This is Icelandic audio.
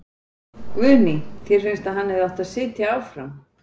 Guðný: Þér finnst að hann hefði átt að sitja áfram?